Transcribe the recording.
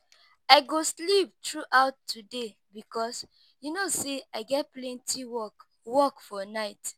I go sleep through out today because you no say I get plenty work work for night